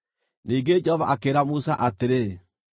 Ningĩ Jehova akĩĩra Musa atĩrĩ,